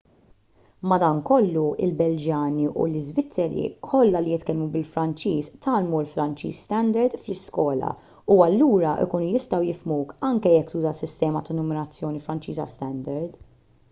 madankollu il-belġjani u l-iżvizzeri kollha li jitkellmu bil-franċiż tgħallmu l-franċiż standard fl-iskola u allura jkunu jistgħu jifhmuk anke jekk tuża s-sistema ta' numerazzjoni franċiża standard